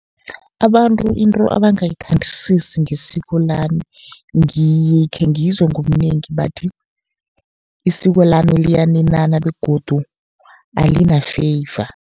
Abantu into abangayithandisisi ngesiko lami, ngikhe ngizwe ngobunengi bathi isiko lami liyaninana begodu alina-favor.